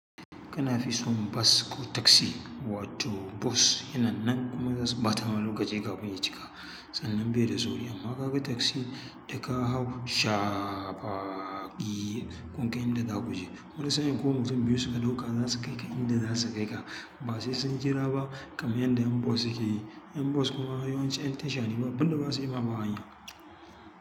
Kana fi son bas ko taksi wato bus? Yanannan kuma za su ɓata maka lokaci kafin ya cika, sannan be da sauri. Amma ka ga taxi da ka hau shaafaa ki, kun kai inda za ku je. Wani sa'in ko mutum biyu suka ɗauka za su kai ka inda za su kai ka. Ba sai sun jira ba kaman yanda ƴan bus suke yi. Ƴan bus kuma yawanci ƴan tasha ne ba abin da ba su yi ba ma hanya.